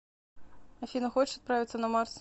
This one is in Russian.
афина хочешь отправиться на марс